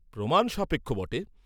প্রমাণসাপেক্ষ বটে!